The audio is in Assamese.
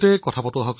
নমস্কাৰ প্ৰেম জী